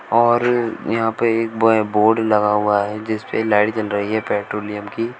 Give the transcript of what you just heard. और यहां पे एक बै बोर्ड लगा हुआ है जिसपे लाइट जल रही है पेट्रोलियम की।